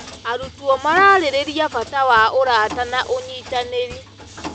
Arutwo mararĩrĩria bata wa ũrata na ũnyitanĩri.